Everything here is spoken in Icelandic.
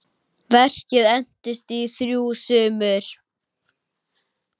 Verkið entist í þrjú sumur.